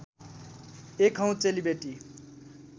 एक हौँ चेलीबेटी